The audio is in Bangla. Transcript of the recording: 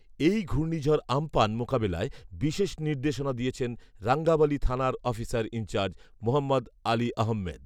এই ঘূর্ণিঝড় আম্পান মোকাবেলায় বিশেষ নির্দেশনা দিয়েছেন রাঙ্গাবালী থানার অফিসার ইনচার্জ মোহম্মদ আলীআহম্মেদ